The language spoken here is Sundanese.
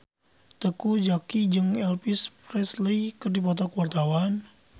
Teuku Zacky jeung Elvis Presley keur dipoto ku wartawan